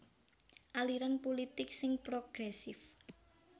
Aliran pulitik sing progresif